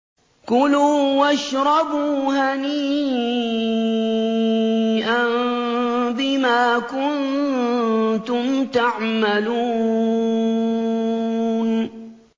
كُلُوا وَاشْرَبُوا هَنِيئًا بِمَا كُنتُمْ تَعْمَلُونَ